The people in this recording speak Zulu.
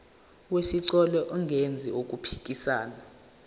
wesicelo engenzi okuphikisana